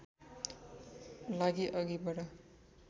लागि अघि बढ